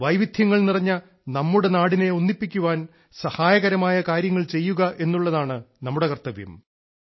വൈവിധ്യങ്ങൾ നിറഞ്ഞ നമ്മുടെ നാടിനെ ഒന്നിപ്പിക്കുവാൻ സഹായകരമായ കാര്യങ്ങൾ ചെയ്യുക എന്നുള്ളതാണ് നമ്മുടെ കർത്തവ്യം